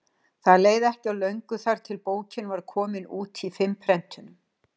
Það leið ekki á löngu þar til bókin var komin út í fimm prentunum.